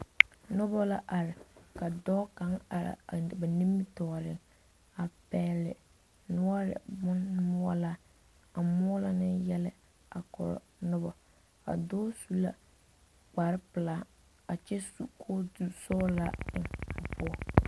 Noba la are ka dɔɔ kaŋa are a noba nimitɔɔreŋ a pɛgle noɔre boŋ moɔlaa a moɔlo ne yɛlɛ a korɔ noba a dɔɔ su la kpare pelaa kyɛ su kootu sɔglaa a eŋ o poɔ.